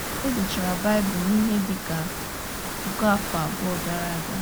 E dechara Baịbụl n’ihe dị ka puku afọ abụọ gara aga.